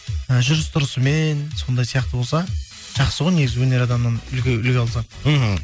і жүріс тұрысымен сондай сияқты болса жақсы ғой негізі өнер адамнан үлгі алсақ мхм